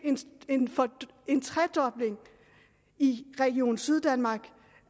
en tredobling i region syddanmark